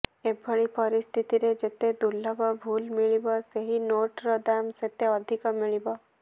ଏଭଳି ପରିସ୍ଥିତିରେ ଯେତେ ଦୁର୍ଲଭ ଭୁଲ ମିଳିବ ସେହି ନୋଟର ଦାମ ସେତେ ଅଧିକ ମିଳିବ